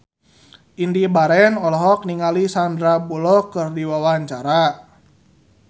Indy Barens olohok ningali Sandar Bullock keur diwawancara